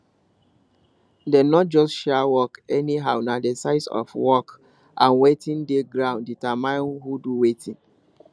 dem no just share work anyhow na the size of work and wetin dey ground determine who do wetin